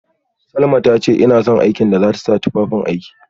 Salma tace ina son aikin da zata sa tufafin aiki